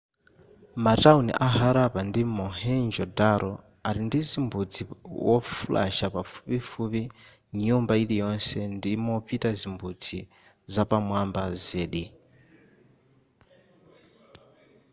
matauni a harappa ndi mohenjo-daro ali ndizimbudzi wofulasha pafupifupi nyumba iliyonse ndimopita zimbudzi zapamwamba zedi